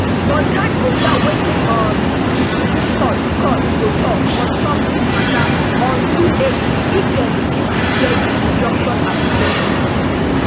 but time go tell wetin um di supreme court court go tok on top dis matter on two april if dem begin to hear di injunction applications